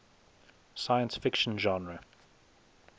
science fiction genre